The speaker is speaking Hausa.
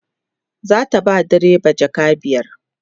zata ba direba jaka biyar